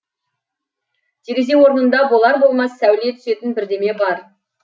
терезе орнында болар болмас сәуле түсетін бірдеме бар